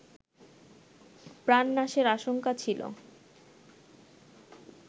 প্রাণ নাশের আশঙ্কা ছিলো